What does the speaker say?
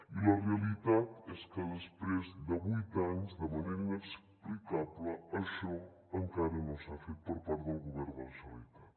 i la realitat és que després de vuit anys de manera inexplicable això encara no s’ha fet per part del govern de la generalitat